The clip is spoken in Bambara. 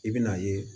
I bɛ n'a ye